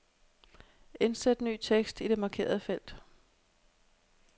Indsæt ny tekst i det markerede felt.